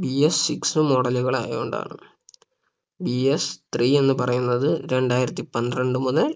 BS Six model ആയത് കൊണ്ടാണ് BSThree എന്ന് പറയുന്നത് രണ്ടായിരത്തി പന്ത്രണ്ട് മുതൽ